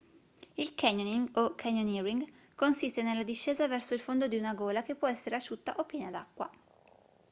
il canyoning o canyoneering consiste nella discesa verso il fondo di una gola che può essere asciutta o piena d'acqua